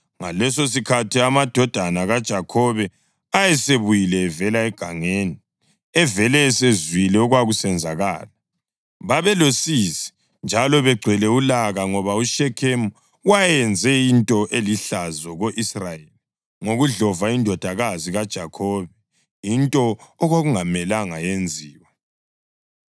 Ngalesosikhathi amadodana kaJakhobe ayesebuyile evela egangeni evele esezwile okwasekwenzakele. Babelosizi njalo begcwele ulaka ngoba uShekhemu wayenze into elihlazo ko-Israyeli ngokudlova indodakazi kaJakhobe, into okwakungamelanga yenziwe.